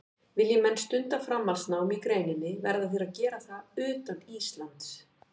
Vilji menn stunda framhaldsnám í greininni verða þeir að gera það utan Íslands.